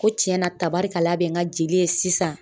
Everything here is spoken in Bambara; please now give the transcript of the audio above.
Ko tiɲɛna tabarikala bɛ n ka jeli ye sisan .